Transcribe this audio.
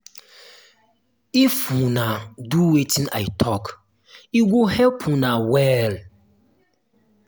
if una do wetin i talk e go help una well